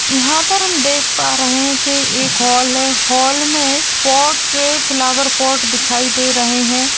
यहाँ पर हम देख पा रहे है कि एक हॉल है हॉल में पॉट फ्लावर पॉट दिखाई दे रहे है।